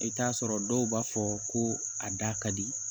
I bɛ t'a sɔrɔ dɔw b'a fɔ ko a da ka di